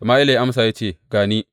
Sama’ila ya amsa ya ce, Ga ni.